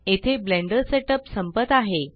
येथे blender setup संपत आहे